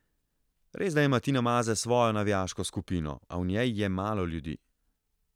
Resda ima Tina Maze svojo navijaško skupino, a v njej je malo ljudi.